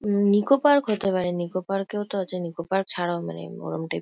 ন নিকো পার্ক হতে পারে। নিকো পার্ক -এও তো আছে। নিকো পার্ক ছাড়া মানে ওরম টাইপ --